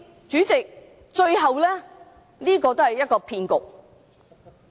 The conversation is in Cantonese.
主席，這是一個騙局。